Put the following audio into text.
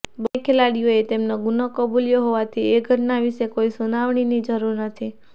બન્ને ખેલાડીઓએ તેમનો ગુનો કબૂલ્યો હોવાથી એ ઘટના વિશે કોઈ સુનાવણીની જરૂર નથી